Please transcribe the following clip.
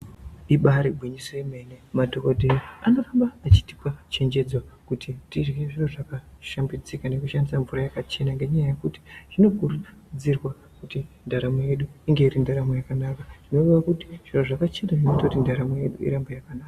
Ibaari gwinyiso yemene madhokodheya anofamba achitipa chenjedzo kuti tirye zviro zvakashambidzika nekushandisa mvura yakachena ngenyaya yekuti zvinokurudzirwa kuti ndaramo yedu inge iri ndaramo yakanaka zvinoreva kuti zviro zvakachena zvinoita kuti ndaramo yedu irambe yakanaka.